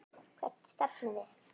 Hvert stefnum við?